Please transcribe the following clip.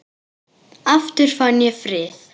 Aftur fann ég frið.